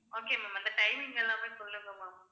okay ma'am அந்த timing எல்லாமே சொல்லுங்க ma'am